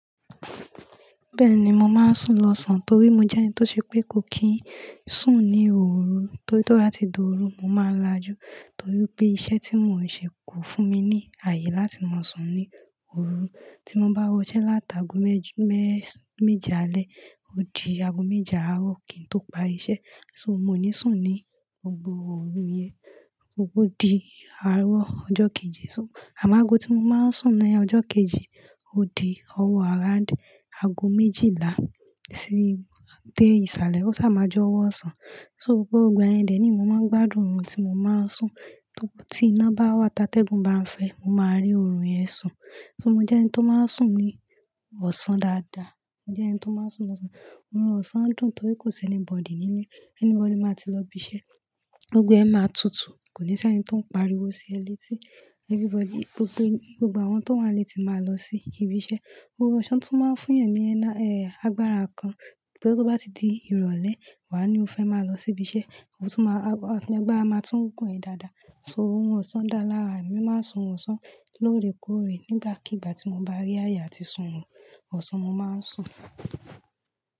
Bẹ́ẹ̀ni mo máa ń sùn lọ́sàn torí mo jẹ́ni tó ṣe pé kò kín sùn ní ooru torí tó bá ti dòru, mo máa lajú torí pé iṣẹ́ tí mò ń ṣe kò fún mi ní ààyè láti máa sùn ní òru. Tí mo bá wọṣẹ́ láti ago méje alẹ́ ó di ago méje àárọ̀ kí n tó parí iṣẹ́. So mo o ní sùn ní gbogbo òru yẹn, o di àárọ̀ ọjọ́ kejì. So àmo ágo tí mo máa ń sùn ní ọjọ́ kejì ó di ọwọ́ around ago méjìlá dé ìsàlẹ̀ ó sá máa jẹ owọ ọ̀sán. So gbogbo igbayẹn dẹ̀ ni mo máa ń gbádùn òrun tí mo máa ń sùn. Tí iná bá wà tá tẹ́gùn bá ń fẹ́ mo máa rí òrun yẹn sùn. So mo jẹ́ ẹni tó máa ń sùn ní ọ̀sán dáadáa. Mo jẹ́ ẹni tó máa ń sùn lọ́sàn-án. Orun ọ̀sán dùn torí kò sí anybody nílé, anybody máa ti lọ ibi iṣẹ́. Gbogbo ẹ máa tutù, kò ní sí ẹni tó ń pariwo sí ẹ letí everybody, gbogbo àwọn tó wà nílé ti máa lọ sí ibi iṣẹ́. Orun ọ̀sán tún máa ń fún yàn ní ẹ́, agbára kan pé tó bá ti di ìrọ̀lẹ́ wàá ní o fẹ́ máa lọ sí ibi iṣẹ́, ọ tún máa, agbára máa tún gún ẹ dáadáa. So orun ọ̀sán dá lára, èmi máa ń sùn orun ọ̀sán lóòrèkóòrè nígbàkigbà tí mo bá rí ààyè àti sùn orun ọ̀sán mo máa ń sùn.